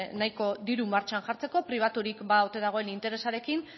nahiko diru martxan jartzeko pribaturik ba ote dagoen interesarekin